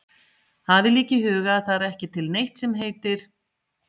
Hafið líka í huga að það er ekki til neitt sem heitir